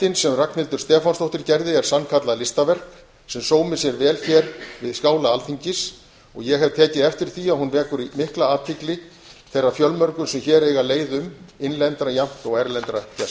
höggmyndin sem ragnhildur stefánsdóttir gerði er sannkallað listaverk sem sómir sér vel hér við skála alþingis ég hef tekið eftir því að hún vekur mikla athygli þeirra fjölmörgu sem hér eiga leið um innlendra jafnt og erlendra gesta